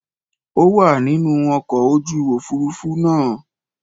Ó wà nínú ọkọ̀ ojú òfuurufú náà.